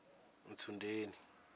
ntsundeni